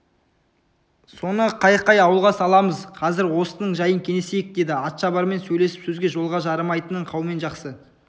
соны қай-қай ауылға саламыз қазір осының жайын кеңесейік деді атшабармен сөйлесіп сөзге жолға жарымайтынын қаумен жақсы